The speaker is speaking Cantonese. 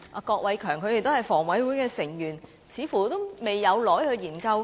但是，房委會表示還未有怎樣研究。